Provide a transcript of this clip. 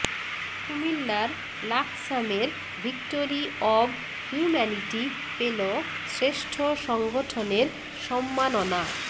কুমিল্লার লাকসামের Victory of Humanity পেল শ্রেষ্ঠ সংগঠনের সম্মাননা